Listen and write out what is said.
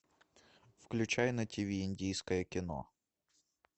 включай на тв индийское кино